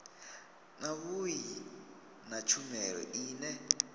na vhui na tshumelo ine